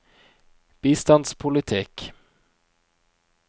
bistandspolitikk